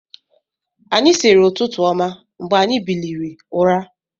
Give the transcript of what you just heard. Anyị siiri ụtụtụ ọma mgbe anyi biliri ụra.